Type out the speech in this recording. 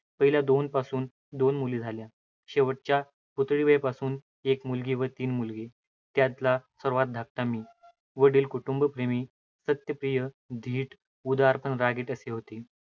पहिल्या दोनपासून दोन मुली झाल्या. शेवटच्या पुतळीबाईपासून एक मुलगी व तीन मुलगे. त्यांतला सर्वात धाकटा मी. वडील कुटुंबप्रेमी, सत्यप्रिय, धीट, उदार पण रागीट असे होते.